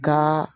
Ka